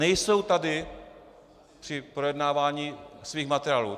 Nejsou tady při projednávání svých materiálů.